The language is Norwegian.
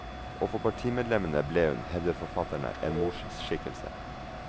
Og for partimedlemmene ble hun, hevder forfatterne, en morsskikkelse.